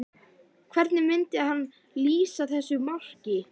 Hvernig myndi hann lýsa þessu marki?